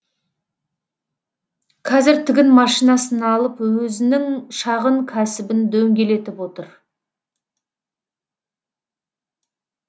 кәзір тігін машинасын алып өзінің шағын кәсібін дөңгелетіп отыр